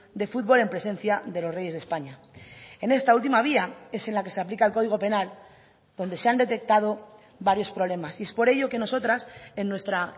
de futbol en presencia de los reyes de españa en esta última vía es en la que se aplica el código penal donde se han detectado varios problemas y es por ello que nosotras en nuestra